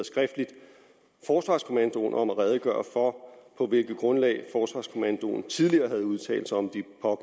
skriftligt forsvarskommandoen om at redegøre for på hvilket grundlag forsvarskommandoen tidligere havde udtalt sig om